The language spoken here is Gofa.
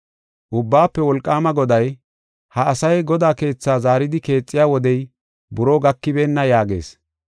Ubbaafe Wolqaama Goday, “Ha asay Godaa keethaa zaaridi keexiya wodey buroo gakibeenna” yaagees.